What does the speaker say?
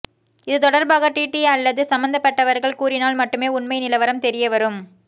இதுதொடர்பாக டிடி அல்லது சம்பந்தப்பட்டவர்கள் கூறினால் மட்டுமே உண்மை நிலவரம் தெரியவரும்